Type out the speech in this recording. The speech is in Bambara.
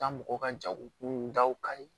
Taa mɔgɔ ka jago kun daw kali